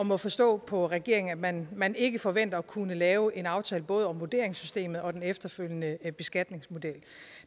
må forstå på regeringen at man man ikke forventer at kunne lave en aftale om både vurderingssystemet og den efterfølgende beskatningsmodel